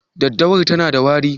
Daddawar tana da wari?